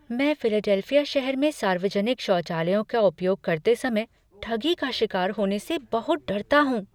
मैं फिलाडेल्फिया शहर में सार्वजनिक शौचालयों का उपयोग करते समय ठगी का शिकार होने से बहुत डरता हूँ।